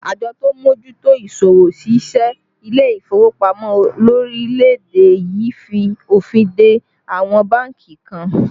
Àjọ tó ń mójútó isọwọ́-ṣiṣẹ́ ilé ìfowópamọ́ lórílẹ̀ èdè yìí fi òfin de àwọn bánkì kan